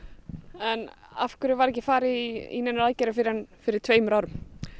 en afhverju var ekki farið í neinar aðgerðir fyrir en fyrir tveimur árum